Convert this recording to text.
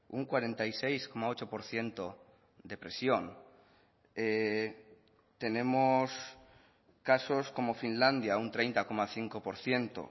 un cuarenta y seis coma ocho por ciento de presión tenemos casos como finlandia un treinta coma cinco por ciento